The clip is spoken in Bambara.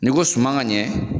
Ni ko suman ka ɲɛ.